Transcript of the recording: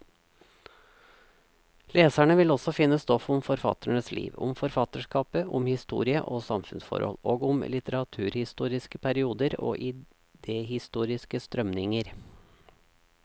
Leserne vil også finne stoff om forfatternes liv, om forfatterskapet, om historie og samfunnsforhold, og om litteraturhistoriske perioder og idehistoriske strømninger.